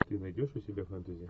ты найдешь у себя фэнтези